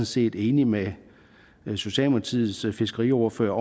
set enig med socialdemokratiets fiskeriordfører